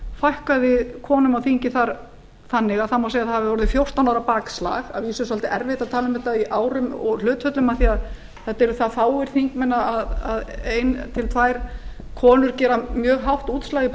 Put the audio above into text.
fækkaði konum á þingi þar þannig að það má segja að það hafi verið fjórtán ára bakslag að vísu er svolítið erfitt að tala um þetta í árum og hlutföllum af því að þetta eru það fáir þingmenn að ein til tvær konur gera mjög hátt útslag í